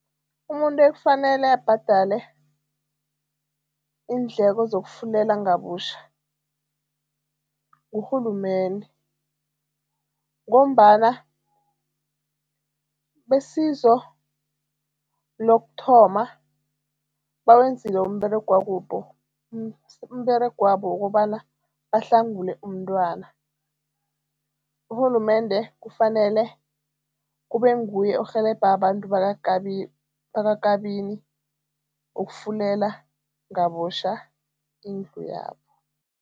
Umuntu ekufanele abhadale iindleko zokufulela ngabutjha ngurhulumende ngombana besizo lokuthoma bawenzile umberegwabo umberegwabo wokobana bahlangule umntwana. Urhulumende kufanele kube nguye orhelebha abantu bakwaKabini ukufulela ngabutjha indlu yabo.